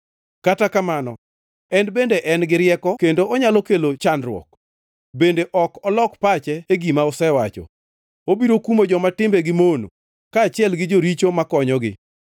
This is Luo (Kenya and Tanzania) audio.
Kata kamano en bende en gi rieko kendo onyalo kelo chandruok; bende ok olok pache e gima osewacho. Obiro kumo joma timbegi mono, kaachiel gi joricho makonyogi.